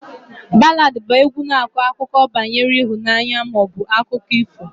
Baladị bụ égwu na-akọ akụkọ banyere ịhụnanya ma ọ bụ akụkọ ifo